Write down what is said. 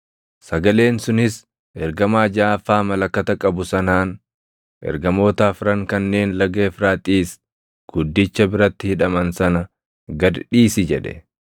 Sagaleen sunis ergamaa jaʼaffaa malakata qabu sanaan, “Ergamoota afran kanneen laga Efraaxiisi guddicha biratti hidhaman sana gad dhiisi” jedhe.